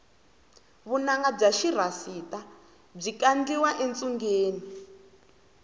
vunanga bya xirhasita byi kandliwa etshungeni